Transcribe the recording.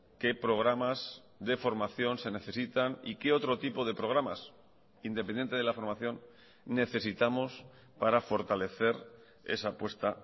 qué programas de formación se necesitan y que otro tipo de programas independiente de la formación necesitamos para fortalecer esa apuesta